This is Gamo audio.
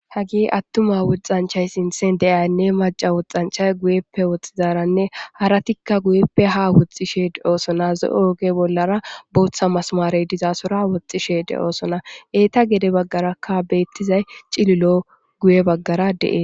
hagi attuma woxxanchay sinthen deiyanne maca woxxanchay guyeppe woxxizaranne haratikka guyeppe ha woxxishee oosona zo7o oge bollara booththa masmarey dizaasora woxxishe de oosona eeta gede baggarakka beettizay cililo guye baggara de7e